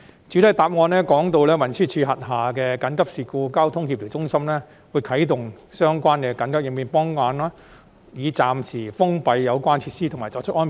主體答覆提到，運輸署轄下的協調中心會啟動相關的緊急應變方案，暫時封閉有關設施和作出安排。